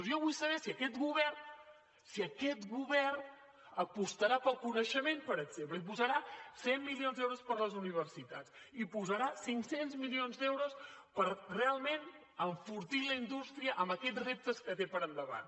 jo vull saber si aquest govern si aquest govern apostarà pel coneixement per exemple si posarà cent milions d’euros per a les universitats si posarà cinc cents milions d’euros per realment enfortir la indústria amb aquests reptes que té per endavant